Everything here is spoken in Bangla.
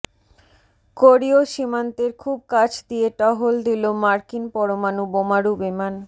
কোরিয় সীমান্তের খুব কাছ দিয়ে টহল দিল মার্কিন পরমাণু বোমারু বিমান